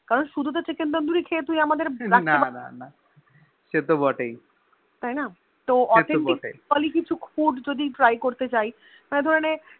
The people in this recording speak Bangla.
কারণ তো শুধু Chicken tandoori খেয়ে তাই না তাহলে Authentic food যদি try করতে চাই মানে ধরে মানে ধর